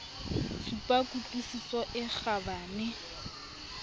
supa ku tlwisiso e kgabane